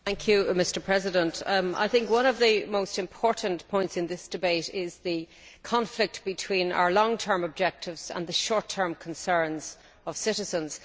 Mr President, I think one of the most important points in this debate is the conflict between our long term objectives and the short term concerns of citizens.